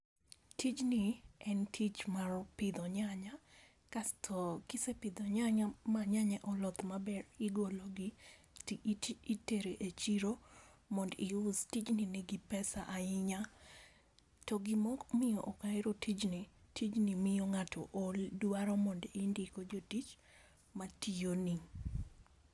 Tijni en tich mar pidho nyanya kasto kisepidho nyanya ma nyanya oloth maber igolo gi ti titere chiro mondo iusi tijni nigi pesa ahinya . To gimomiyo ok ahero tijni , tijni miyo ng'ato ol odwaro mondo indiko jotich matiyo ni.